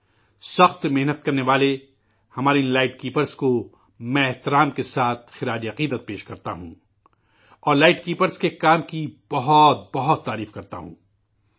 کڑی محنت کرنے والے، ہمارے ان لائٹ کیپرس کو میں بڑے احترام سے خراج عقیدت پیش کرتا ہوں، اور لائٹ کیپرس کے کام کی بہت بہت ستائش کرتا ہوں،